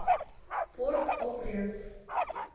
порт о пренс